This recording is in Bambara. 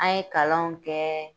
An ye kalanw kɛ